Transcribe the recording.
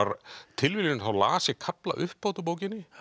tilviljun þá las ég kafla upphátt úr bókinni